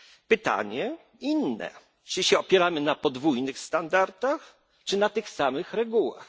Pytanie jest inne czy opieramy się na podwójnych standardach, czy na tych samych regułach?